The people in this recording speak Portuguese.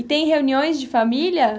E tem reuniões de família?